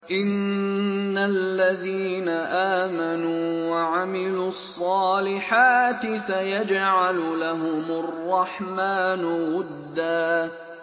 إِنَّ الَّذِينَ آمَنُوا وَعَمِلُوا الصَّالِحَاتِ سَيَجْعَلُ لَهُمُ الرَّحْمَٰنُ وُدًّا